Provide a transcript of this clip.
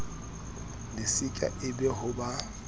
silika e be ho ba